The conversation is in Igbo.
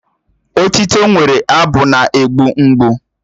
Otịto nwere abụ na-egbu mgbu